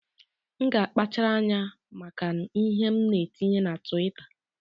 M ga-akpachara anya maka ihe m na-etinye na Twitta